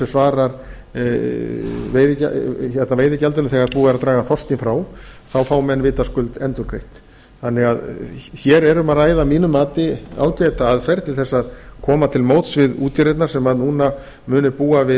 svarar veiðigjaldinu þegar búið er að draga þorskinn frá fá menn vitaskuld endurgreitt hér er um að ræða að mínu mati ágæta aðferð til þess að koma til móts við útgerðirnar sem núna munu búa